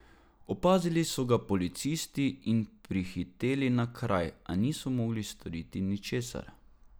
Opazili so ga policisti in prihiteli na kraj, a niso mogli storiti ničesar.